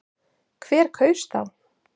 Hver kaus þá?